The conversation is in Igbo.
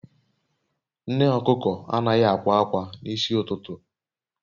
Nne okuko anaghị akwa akwa n'isi ụtụtụ